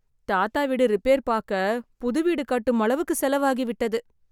தாத்தா வீடு ரிப்பேர் பாக்க புது வீடு கட்டும் அளவுக்கு செலவு ஆகிவிட்டது.